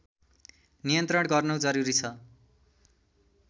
नियन्त्रण गर्नु जरुरी छ